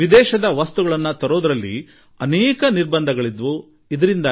ವಿದೇಶಿ ವಸ್ತುಗಳನ್ನು ತರುವ ಸಂಬಂಧದಲ್ಲಿ ಅನೇಕ ನಿರ್ಬಂಧಗಳಿದ್ದ ಕಾಲವೊಂದಿತ್ತು